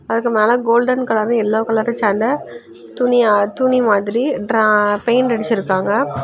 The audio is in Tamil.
அதுக்கு மேல கோல்டன் கலரு எல்லோ கலரு சேந்த துணியா துணி மாதிரி ட்ரா பெயிண்ட் அடிச்சிருக்காங்க.